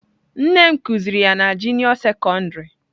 Nne m kuziri ya na juniọ sekondarị.